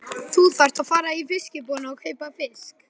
Þú þarft að fara í fiskbúðina og kaupa fisk.